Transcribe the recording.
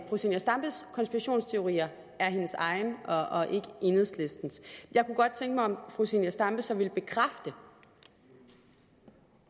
fru zenia stampes konspirationsteorier er hendes egne og ikke enhedslistens jeg kunne godt tænke mig at fru zenia stampe så ville bekræfte